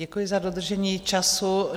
Děkuji za dodržení času.